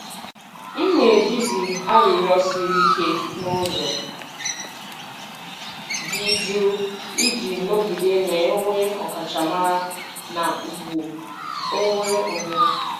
M na-ejizi arịrịọ siri ike n’ụzọ dị jụụ iji nọgide na-enwe ọkachamara na ugwu onwe onye.